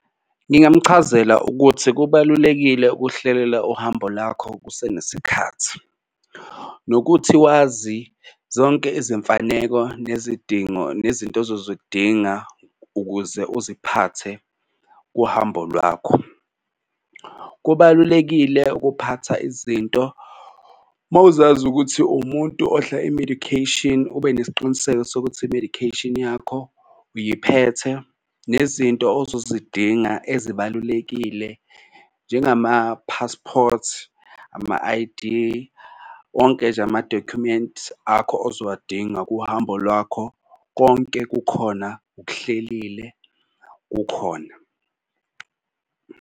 Ngingamchazela ukuthi kubalulekile ukuhlelela uhambo lakho kusenesikhathi nokuthi wazi zonke izimfaneko nezidingo nezinto ozozodinga ukuze uziphathe kuhambo lwakho. Kubalulekile ukuphatha izinto uma uzazi ukuthi uwumuntu odla i-medication ube nesiqiniseko sokuthi i-medication yakho uyiphethe. Nezinto ozozidinga ezibalulekile njengama-passport ama-I_D wonke nje amadokhumenti akho ozowadinga kuhambo lwakho, konke kukhona ukuhlelile kukhona.